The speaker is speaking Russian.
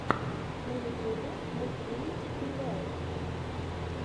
на ютюбе мультфильм пи вэлл